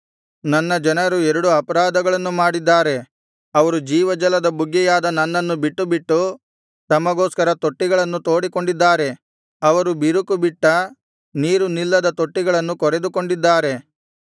ನನ್ನ ಜನರು ಎರಡು ಅಪರಾಧಗಳನ್ನು ಮಾಡಿದ್ದಾರೆ ಅವರು ಜೀವಜಲದ ಬುಗ್ಗೆಯಾದ ನನ್ನನ್ನು ಬಿಟ್ಟುಬಿಟ್ಟು ತಮಗೋಸ್ಕರ ತೊಟ್ಟಿಗಳನ್ನು ತೋಡಿಕೊಂಡಿದ್ದಾರೆ ಅವರು ಬಿರುಕು ಬಿಟ್ಟ ನೀರು ನಿಲ್ಲದ ತೊಟ್ಟಿಗಳನ್ನು ಕೊರೆದುಕೊಂಡಿದ್ದಾರೆ